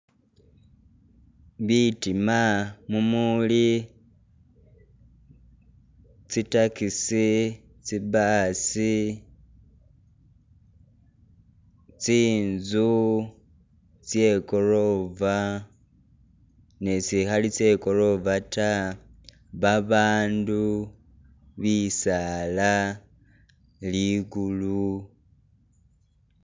Bitiima mumuli tsi taxi, tsi bus, tsinzu tse ikorofa ni tsitsikhali tse korofa ta, babandu, bisaala, lukulu